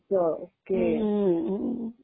काहीतरी असतं. हां. हम्म.